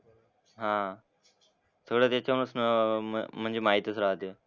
हां. सगळं त्याच्यामुळेच अह म्हणजे माहितीच राहते.